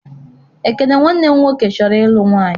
Ekene nwanne m nwoke chọrọ ịlụ nwaanyị.